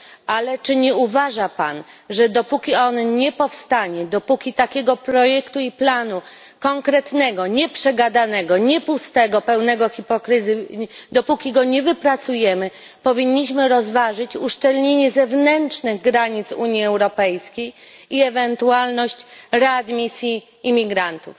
Ale czy nie uważa Pan, że dopóki on nie powstanie, dopóki takiego projektu i planu konkretnego nie przegadanego, nie pustego, pełnego hipokryzji dopóki go nie wypracujemy, powinniśmy rozważyć uszczelnienie zewnętrznych granic Unii Europejskiej i ewentualność readmisji imigrantów?